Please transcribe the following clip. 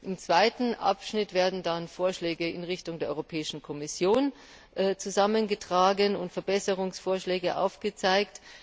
Im zweiten Abschnitt werden dann Vorschläge in Richtung der Europäischen Kommission zusammengetragen und Verbesserungsmöglichkeiten aufgezeigt.